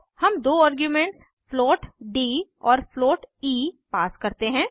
हम दो arguments float D और फ्लोट ई पास करते हैं